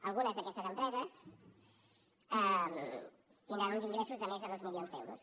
algunes d’aquestes empreses tindran uns ingressos de més de dos milions d’euros